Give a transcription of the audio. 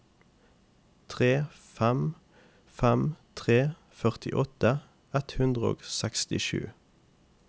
tre fem fem tre førtiåtte ett hundre og sekstisju